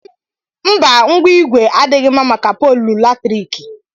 Mba ngwa ìgwè adịghị mma màkà poolu latriki.